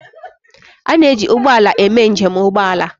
A na-eji ụgbọ ala eme njem ụgbọ ala